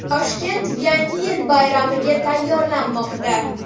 Toshkent Yangi yil bayramiga tayyorlanmoqda.